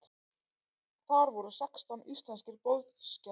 Þar voru sextán íslenskir boðsgestir.